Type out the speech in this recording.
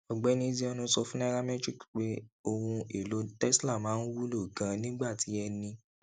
ọgbẹni ezeonu sọ fún nairametrics pé ohun elo tesla máa ń wúlò ganan nígbà tí ẹni